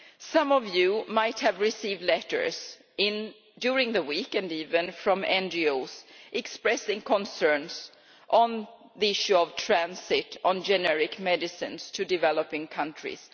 Some of you might have received letters during the week from NGOs expressing concerns on the issue of transit of generic medicines to developing countries.